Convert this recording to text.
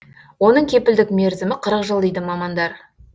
оның кепілдік мерзімі қырық жыл дейді мамандар